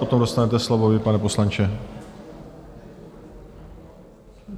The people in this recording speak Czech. Potom dostanete slovo vy, pane poslanče.